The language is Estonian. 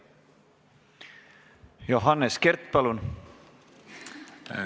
Johannes Kert, palun!